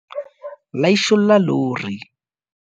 laisholla lori